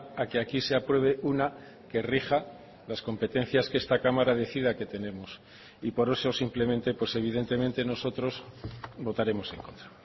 a que aquí se apruebe una que rija las competencias que esta cámara decida que tenemos y por eso simplemente pues evidentemente nosotros votaremos en contra